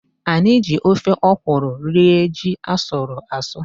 Anyị ji ofe ọkwụrụ rie ji asụrụ asụ.